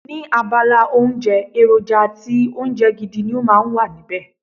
Ní abala oúnjẹ, èròjà àti oúnjẹ gidi ni ó máa ń wà níbẹ̀.